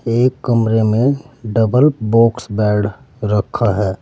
एक कमरे में डबल बॉक्स बेड रखा है।